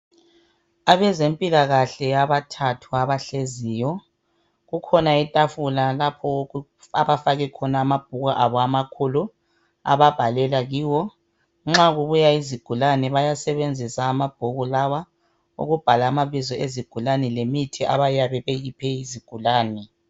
Abezempikahle abathathu abahleziyo, kukhona itafula lapho abafake khona amabhuku abo amakhulu ababhalela kiwo Nxa kubuya izigulani bayasebenzisa amabhuku lawa ukubhala amabizo ezigulane lemithi ayabe beyiphe izigulani